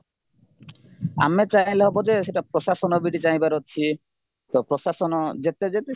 ଆମେ ଚାହିଁଲେ ହବଯେ ସେଇଟା ପ୍ରଶାସନବି ଚାହିଁବାର ଅଛି ତ ପ୍ରଶାସନ ଯେତେ ଯେତେ